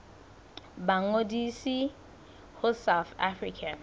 ba ngodise ho south african